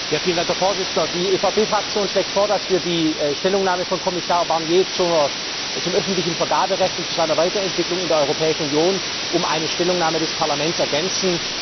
Herr Präsident! Die EVP Fraktion schlägt vor, dass wir die Stellungnahme von Kommissar Barnier zum öffentlichen Vergaberecht und zu seiner Weiterentwicklung in der Europäischen Union um eine Stellungnahme des Parlaments ergänzen.